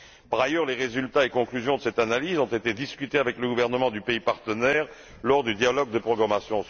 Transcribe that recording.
Par ailleurs, les résultats et conclusions de cette analyse ont été discutés avec le gouvernement du pays partenaire lors du dialogue de programmation.